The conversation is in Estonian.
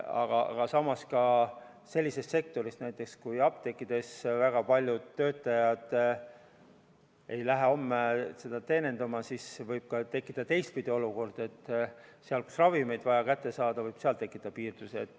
Aga samas, kui näiteks mõnes apteegis ei lähe väga paljud töötajad homme teenindama, siis võib tekkida teistpidine olukord ja seal, kust on vaja ravimeid kätte saada, on asjad halvasti.